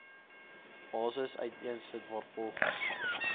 basis uiteensit waarvolgens